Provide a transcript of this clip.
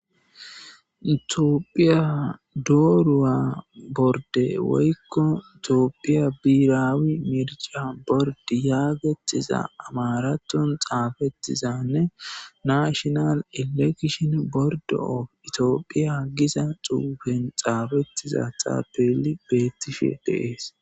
itophiyadooru7a borde woykko itiophiya biiraawi mirica bord yaagettiza amaraton xaafettizanne naashinal elekishin bordo o itoophiya giza xuufen xaafettiza xaapeeli beettishe deees